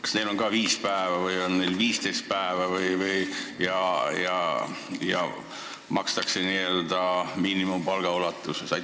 Kas neil on ka viis päeva või on neil 15 päeva ja makstakse n-ö miinimumpalga ulatuses?